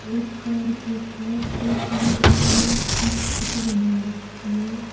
और कार के पास एक नीले कलर की छत बना रखी है।